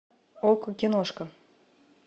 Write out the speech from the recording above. окко киношка